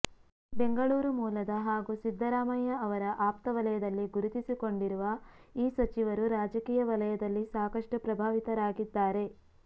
ಬೆಂಗಳೂರು ಮೂಲದ ಹಾಗೂ ಸಿದ್ದರಾಮಯ್ಯ ಅವರ ಆಪ್ತ ವಲಯದಲ್ಲಿ ಗುರುತಿಸಿಕೊಂಡಿರುವ ಈ ಸಚಿವರು ರಾಜಕೀಯ ವಲಯದಲ್ಲಿ ಸಾಕಷ್ಟು ಪ್ರಭಾವಿತರಾಗಿದ್ದಾರೆ